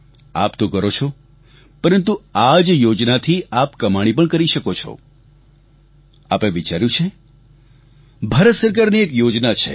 આપ તો કરો છો પરંતુ આ જ યોજનાથી આપ કમાણી પણ કરી શકો છો આપે વિચાર્યું છે ભારત સરકારની એક યોજના છે